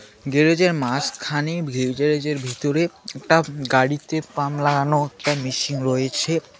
গ্যারেজের মাঝখানে ভিতরে একটা গাড়িতে পাম লাগানো একটা মেশিন রয়েছে।